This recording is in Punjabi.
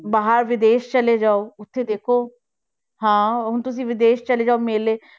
ਬਾਹਰ ਵਿਦੇਸ਼ ਚਲੇ ਜਾਓ ਉੱਥੇ ਦੇਖੋ, ਹਾਂ ਹੁਣ ਤੁਸੀਂ ਵਿਦੇਸ਼ ਚਲੇ ਜਾਓ ਮੇਲੇ,